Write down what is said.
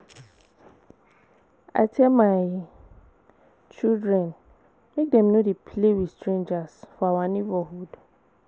I tell my children make dem no dey play with strangers for our neighborhood